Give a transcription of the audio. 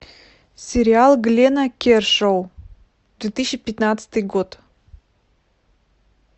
сериал глена кершоу две тысячи пятнадцатый год